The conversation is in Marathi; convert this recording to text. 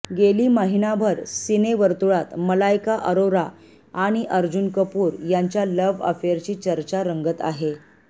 गेली महिनाभर सिनेवर्तुळात मलायका अरोरा आणि अर्जुन कपूर यांच्या लव्ह अफेअरची चर्चा रंगत आहे